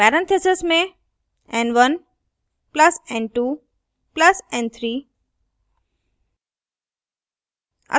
parentheses में n1 plus n2 plus n3